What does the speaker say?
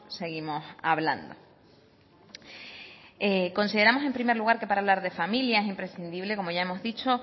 seguimos hablando consideramos en primer lugar que para hablar de familia es imprescindible como ya hemos dicho